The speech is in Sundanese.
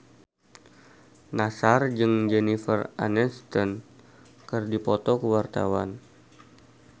Nassar jeung Jennifer Aniston keur dipoto ku wartawan